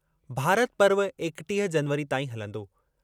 भारत पर्व एकटीह जनवरी ताईं हलंदो।